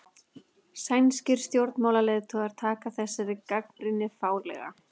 Sænskir stjórnmálaleiðtogar taka þessari gagnrýni fálega